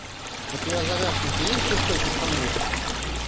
у тебя в загашнике есть жестокий стамбул